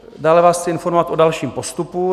Dále vás chci informovat o dalším postupu.